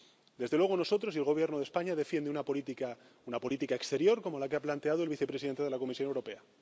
Desde luego nosotros, y el Gobierno de España, defendemos una política, una política exterior como la que ha planteado el vicepresidente de la Comisión Europea.